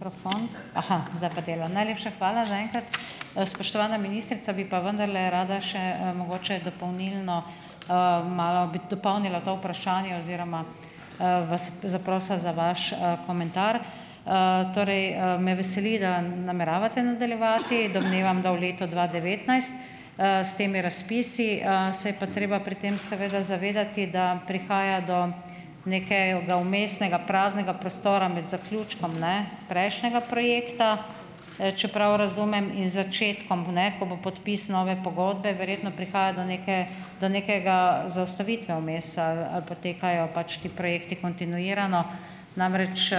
Krofon zdaj pa dela, najlepša zaenkrat. Spoštovana ministrica, bi pa vendarle rada še, mogoče dopolnilno, malo bi dopolnila to vprašanje oziroma vas zaprosila za vaš komentar. Torej, me veseli, da nameravate nadaljevati, domnevam da v leto dva devetnajst , s temi razpisi, se je pa treba pri tem seveda zavedati, da prihaja do nekega vmesnega, praznega prostora med zaključkom, ne, prejšnjega projekta, če prav razumem, in začetkom, ne, ko bo podpis pogodbe verjetno. Prihaja do neke nove do nekega zaustavitve vmes ali ali potekajo pač ti projekti kontinuirano. Namreč,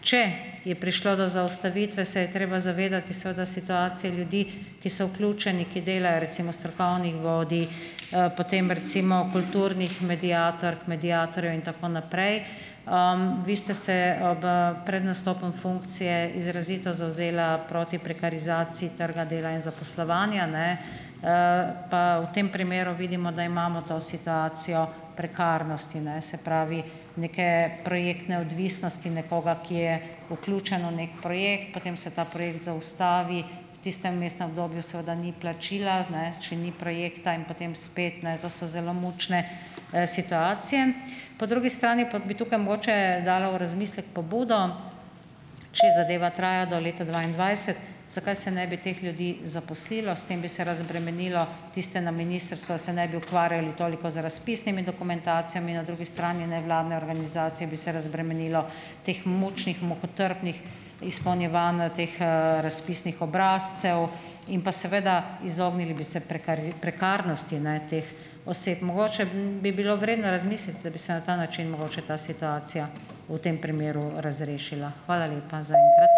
če je prišlo do zaustavitve, se je treba zavedati seveda situacije ljudi, ki so vključeni, ki delajo, recimo strokovnih vodij, potem recimo, kulturnih mediatork, mediatorjev in tako naprej. Vi ste se ob pred nastopom funkcije izrazito zavzela proti prekarizaciji trga dela in zaposlovanja, ne, pa v tem primeru vidimo, da imamo to situacijo prekarnosti, ne, se pravi, neke projektne odvisnosti nekoga, ki je vključen v neki projekt, potem se ta projekt zaustavi, v tistem vmesnem obdobju seveda ni plačila, ne, če ni projekta in potem spet, ne, to so zelo mučne situacije. Po drugi strani pa bi tukaj mogoče dala v razmislek pobudo. Če zadeva traja do leta dvaindvajset, zakaj se ne bi teh ljudi zaposlilo? S tem bi se razbremenilo tiste na ministrstvu, da se ne bi ukvarjali toliko z razpisnimi dokumentacijami, na drugi strani nevladne organizacije bi se razbremenilo teh mučnih, mukotrpnih izpolnjevanj teh razpisnih obrazcev in pa seveda, izognili bi se prekarnosti, ne, teh oseb. Mogoče bi bilo vredno razmisliti, da bi se na ta način mogoče ta situacija, v tem primeru, razrešila. Hvala lepa zaenkrat.